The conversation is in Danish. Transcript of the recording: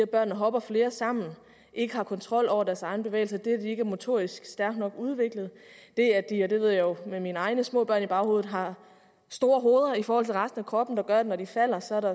børnene hopper flere sammen og at ikke har kontrol over deres egne bevægelser de er ikke motorisk stærkt nok udviklet de har det ved jeg jo med mine egne små børn i baghovedet store hoveder i forhold til resten af kroppen at der når de falder så er